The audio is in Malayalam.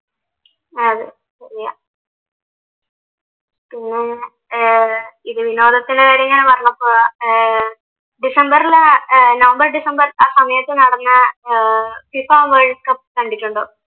ഡിസംബറിലെ ഏർ നവംബർ, ഡിസംബർ ആ സമയത്ത് നടന്ന ഏർ ഫിഫ വേൾഡ് കപ്പ് കണ്ടിട്ടുണ്ടോ?